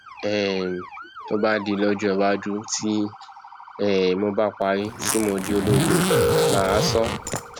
um tó bá di lọjọ iwájú tí um mo bá parí tí mo di ológun mà á sọ ọ